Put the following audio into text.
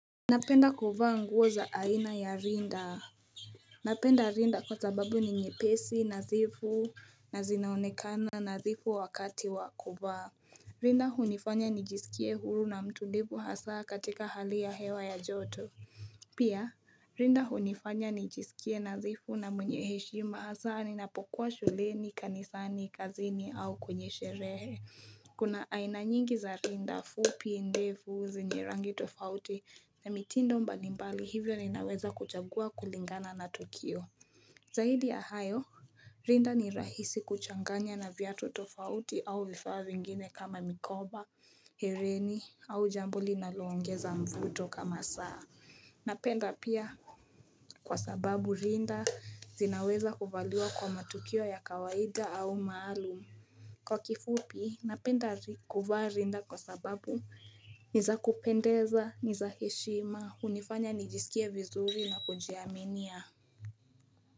Napenda kuvaa nguo za aina ya rinda. Napenda rinda kwa sababu ni nyepesi, nadhifu na zinaonekana nadhifu wakati wa kuvaa. Rinda hunifanya nijisikie huru na mtulivu hasa katika hali ya hewa ya joto. Pia, rinda hunifanya nijisikie nadhifu na mwenye heshima hasa ninapokuwa shuleni, kanisani, kazini au kwenye sherehe. Kuna aina nyingi za rinda fupi, ndefu, zenye rangi tofauti na mitindo mbalimbali hivyo ninaweza kuchagua kulingana na tukio. Zaidi ya hayo, rinda ni rahisi kuchanganya na viatu tofauti au vifaa vingine kama mikoba, hereni au jambo linaloongeza mvuto kama saa. Napenda pia kwa sababu rinda zinaweza kuvaliwa kwa matukio ya kawaida au maalum. Kwa kifupi, napenda kuvaa rinda kwa sababu, ni za kupendeza, ni za heshima, hunifanya nijisikie vizuri na kujiaminia.